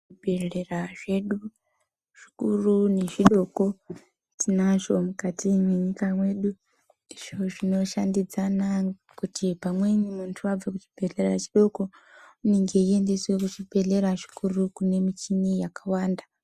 Zvibhehlera zvedu zvikuru nezvidoko tinazvo mukati menyika mwedu izvo zvinoshandidzana kuti kana munhu abva kuchibhehlera chidoko unenge eienda kuchibhehlera chikuru uko kune michina yakawanda